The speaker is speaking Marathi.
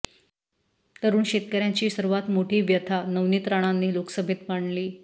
तरूण शेतकऱ्यांची सर्वात मोठी व्यथा नवनीत राणांनी लोकसभेत मांडली